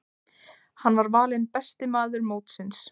Hann var valinn besti maður mótsins.